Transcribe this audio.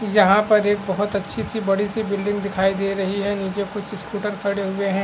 यहाँ पर एक बहुत अच्छी-अच्छी बड़ी सी बिल्डिंग दिखाई दे रही है नीचे कुछ स्कूटर खड़े हुए हैं।